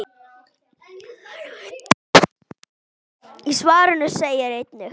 Í svarinu segir einnig